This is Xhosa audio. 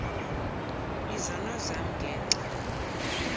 izono zam ngenxa